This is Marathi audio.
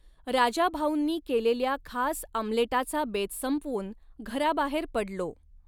राजाभाऊंनी केलेल्या खास आमलेटाचा बेत संपवुन, घराबाहेर पडलो.